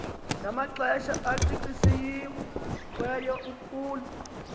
namaxesha acacisiweyo kule